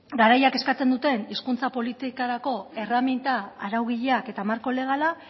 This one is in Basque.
garaiak eskatzen duten hizkuntza politikarako erreminta araugileak eta marko legala